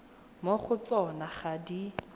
mo go tsona ga di